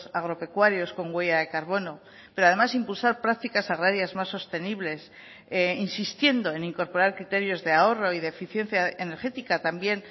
agropecuarios con huella de carbono pero además impulsar prácticas agrarias más sostenibles insistiendo en incorporar criterios de ahorro y de eficiencia energética también